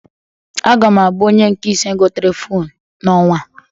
Aga m abụ onye nke ise gotere fonu n'ọnwa a.